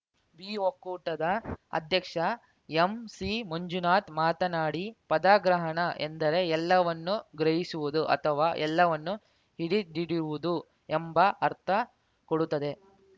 B ಒಕ್ಕೂಟದ ಅಧ್ಯಕ್ಷ ಎಂಸಿಮಂಜುನಾಥ್‌ ಮಾತನಾಡಿ ಪದಗ್ರಹಣ ಎಂದರೆ ಎಲ್ಲವನ್ನು ಗ್ರಹಿಸುವುದು ಅಥವಾ ಎಲ್ಲವನ್ನು ಹಿಡಿದಿಡುವುದು ಎಂಬ ಅರ್ಥ ಕೊಡುತ್ತದೆ